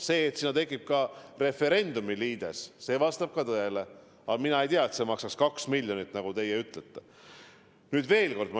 See, et sinna tekib ka referendumiliides, vastab tõele, aga mina ei tea, et see maksab 2 miljonit, nagu teie ütlete.